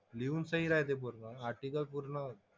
लिहून सही राहते पूर्ण. आर्टिकल पूर्ण,